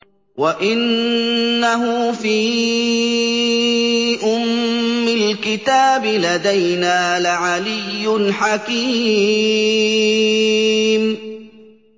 وَإِنَّهُ فِي أُمِّ الْكِتَابِ لَدَيْنَا لَعَلِيٌّ حَكِيمٌ